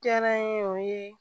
Jɛn ye o ye